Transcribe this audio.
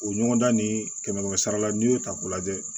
O ɲɔgɔndan ni kɛmɛ kɛmɛ sara la n'i y'o ta k'o lajɛ